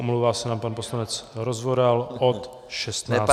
Omlouvá se nám pan poslanec Rozvoral od 16 hodin.